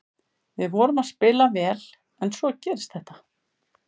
Við vorum að spila vel en svo gerist þetta.